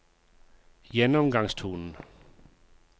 gjennomgangstonen